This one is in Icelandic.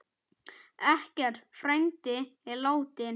Eggert frændi er látinn.